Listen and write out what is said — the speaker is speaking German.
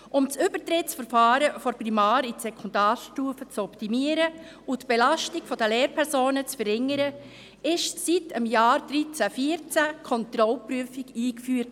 Um das Übertrittsverfahren von der Primar- in die Sekundarstufe zu optimieren und die Belastung der Lehrpersonen zu verringern, wurde ab dem Jahr 2013/14 die Kontrollprüfung eingeführt.